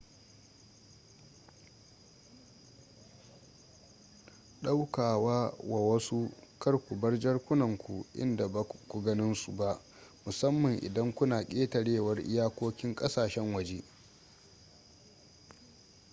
daukawa wa wasu kar ku bar jakunanku inda baku ganin su ba musamman idan kuna ƙetarewar iyakokin ƙasashen waje